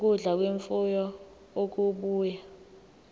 ukudla kwemfuyo okubuya